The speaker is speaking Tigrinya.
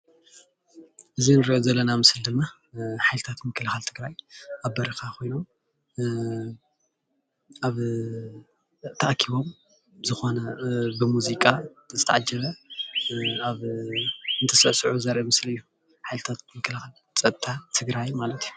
እዚ እንሪኦ ዘለና ምስሊ ድማ ሓይልታት ምክልካል ትግራይ ኣብ በረካ ኮይኖም ኣብ ተኣኪቦም ዝኮነ ብሙዚቃ ዝተዓጀበ ኣብ እትስዕስዑ ዘርኢ ምስሊ እዩ፡፡ ሓይልታት ምክልካት ፀጥታትግራይ ማለት እዩ፡፡